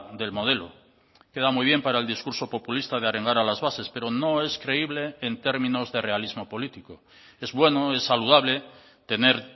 del modelo queda muy bien para el discurso populista de arengar a las bases pero no es creíble en términos de realismo político es bueno es saludable tener